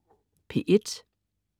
P1: